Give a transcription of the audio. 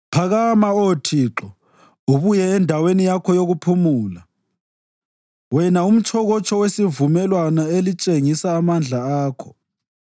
Phakama, Oh Thixo, ubuye endaweni yakho yokuphumula, wena umtshokotsho wesivumelwano elitshengisa amandla akho.